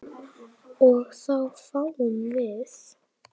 og þá fáum við